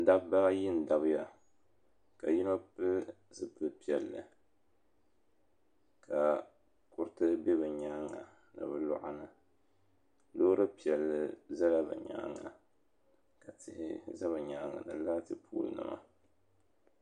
Dabba ayi n dabiya ka yino pili zipil piɛli ka kuriti be bɛ nyaanga ni bɛ kuɣa ni Loori piɛli zala bɛ nyaanga ka tihi za bɛ nyaanga laati pooli nima.